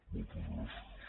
moltes gràcies